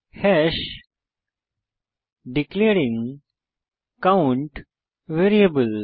hash declaring count variable